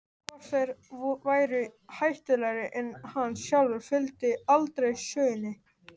Hvort þeir væru hættulegri en hann sjálfur fylgdi aldrei sögunni.